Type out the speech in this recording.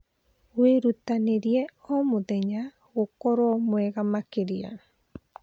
Wĩrutanĩrie o mũthenya gũkorwo mwega makĩria.